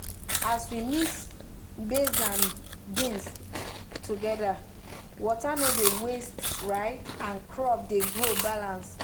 as we mix maize and beans together water no dey waste um and crop dey grow balance.